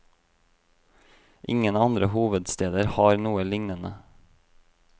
Ingen andre hovedsteder har noe lignende.